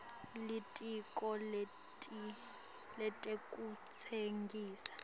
litiko letekutsengisa